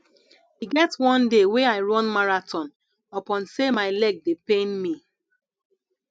e get one day wey i run marathon upon sey my leg dey pain me